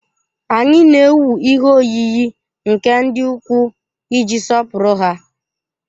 Anyị na-ewu ihe oyiyi nke ndị ukwu iji sọpụrụ ha.